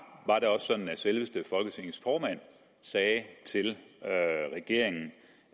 var det sådan at selveste folketingets formand sagde til regeringen